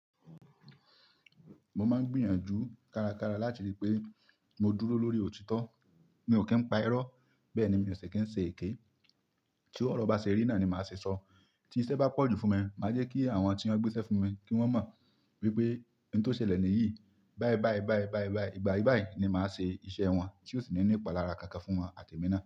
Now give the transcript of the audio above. Mo máa ń gbìyànjú kárakára láti rí i pé mo dúró lórí òtítọ́. Mi ò kí ń pa irọ́, bẹ́ẹ̀ni mi ò ṣi kí ń ṣe èké. Tí ọ̀rọ̀ bá ṣe rí náà ni màá ṣe sọ. Tí iṣẹ́ bá pọ̀jù fún mi, màá jẹ́ kí àwọn tí wọn ń gbéṣẹ́ fún mi kí wọ́n mọ̀ wípé ohun tó ṣẹlẹ̀ nìyí. Báyìí báyìí, báyìí báyìí, igba yii bayii ni màá ṣe iṣẹ́ wọn tí ó sì ní ìpalára kankan fún wọn àti mi náà.